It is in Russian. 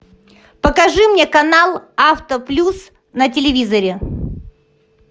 покажи мне канал авто плюс на телевизоре